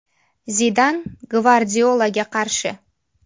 Zidan Gvardiolaga qarshi.